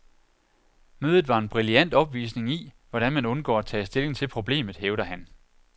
Mødet var en brilliant opvisning i, hvordan man undgår at tage stilling til problemet, hævder han.